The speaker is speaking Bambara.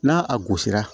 N'a a gosira